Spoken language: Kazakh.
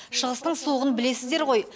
шығыстың суығын білесіздер ғой